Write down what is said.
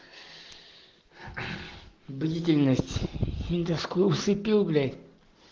длительность эндоскоп слепил блять